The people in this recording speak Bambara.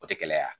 O tɛ gɛlɛya